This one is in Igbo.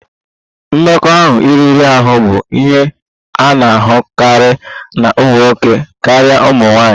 Mmekọahụ riri ahụ bụ ihe a na-ahụkarị na ụmụ nwoke karịa ụmụ nwanyị